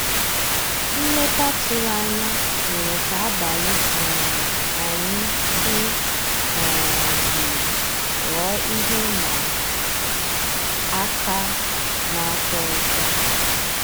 Nlétà tụ̀rụ̀ ànyá mérè ká àbàlí um ànyị́ dị́ um jụ́ụ́ ghọ́ọ́ íhé ị́mà àká ná-àtọ́ ụtọ́.